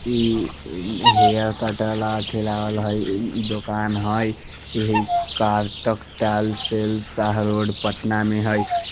इ हेयर काटे वाला अथी लागल हई दुकान हई इह कार्तक टाल शेल शाह रोड पटना में हई।